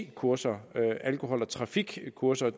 kurser alkohol og trafikkurser